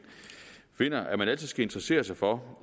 finder at man altid skal interessere sig for